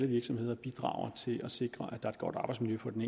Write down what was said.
virksomheder bidrager til at sikre at der er et godt arbejdsmiljø på den